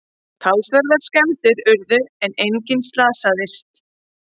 Talsverðar skemmdir urðu en enginn slasaðist